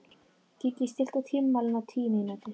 Gígí, stilltu tímamælinn á tíu mínútur.